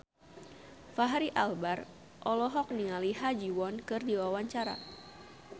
Fachri Albar olohok ningali Ha Ji Won keur diwawancara